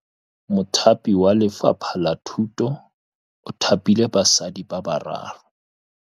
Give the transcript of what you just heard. Mothapi wa Lefapha la Thutô o thapile basadi ba ba raro.